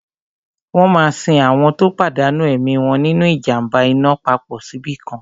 Wọ́n máa sin àwọn tó pàdánù ẹ̀mí wọn nínu ìjàm̀ba iná papọ̀ síbìkan